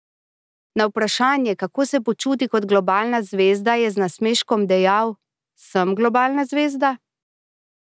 Na vprašanje, kako se počuti kot globalna zvezda, je z nasmeškom dejal: "Sem globalna zvezda?